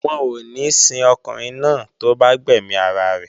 Wọn ò ní sin ọkùnrin náà tó bá gbẹ̀mí ara rẹ̀